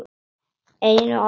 Einu af mörgum.